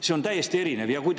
See on täiesti erinev!